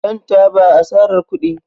Shan taba asarar kudi